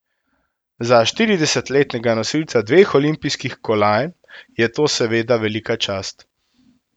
Za štiridesetletnega nosilca dveh olimpijskih kolajn je to seveda velika čast.